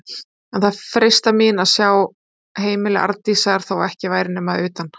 En það freistar mín að sjá heimili Arndísar, þó ekki væri nema að utan.